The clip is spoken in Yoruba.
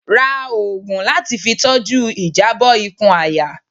Rá òògùn latí fí tọju ìjabọ ìkùn àyà